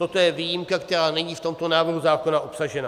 Toto je výjimka, která není v tomto návrhu zákona obsažena.